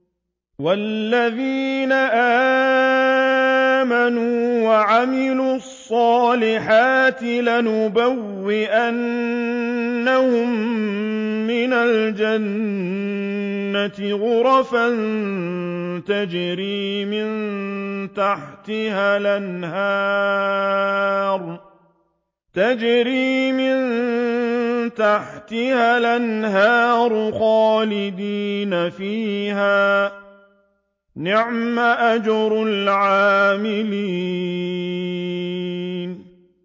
وَالَّذِينَ آمَنُوا وَعَمِلُوا الصَّالِحَاتِ لَنُبَوِّئَنَّهُم مِّنَ الْجَنَّةِ غُرَفًا تَجْرِي مِن تَحْتِهَا الْأَنْهَارُ خَالِدِينَ فِيهَا ۚ نِعْمَ أَجْرُ الْعَامِلِينَ